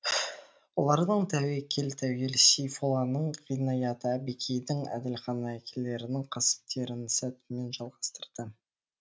олардың тәуекел тәуел сейфолланың ғинаяты әбікейдің әділханы әкелерінің кәсіптерін сәтімен жалғастырды